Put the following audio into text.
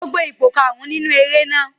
Ó gbé ipò karùn-ún nínú eré náà.